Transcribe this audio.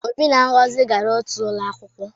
Obi na Ngozi gara otu ụlọ akwụkwọ